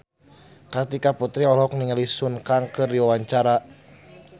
Kartika Putri olohok ningali Sun Kang keur diwawancara